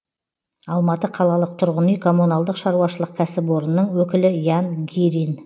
алматы қалалық тұрғын үй коммуналдық шаруашылық кәсіпорнының өкілі ян гирин